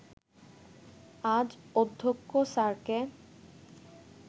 আজ অধ্যক্ষ স্যারকে